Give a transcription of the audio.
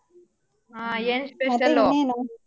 ಆ .